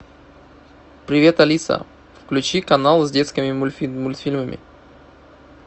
привет алиса включи канал с детскими мультфильмами